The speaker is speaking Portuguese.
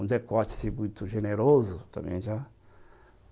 Um decótice muito generoso também já.